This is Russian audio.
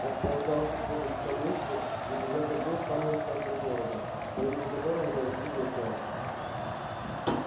располагался полис в том месте где когда-то был самый центр города по имени которого нарекли метро